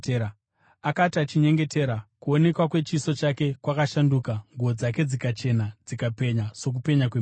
Akati achinyengetera, kuonekwa kwechiso chake kwakashanduka, nguo dzake dzikachena dzikapenya sokupenya kwemheni.